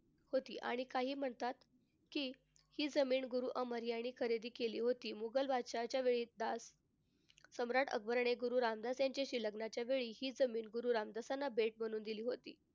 होती आणि काही म्हणतात कि हि जमीन गुरु अमर यांनी खरेदी केली होती. मुघल बादशहाच्या वेळी दास सम्राट अकबरांनी गुरु रामदास यांच्याशी लग्नाचे वेळी हि जमीन गुरु रामदासांना भेट म्हणून दिली होती.